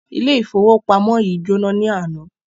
Ilé ifowopamọ yìí jona ní àna.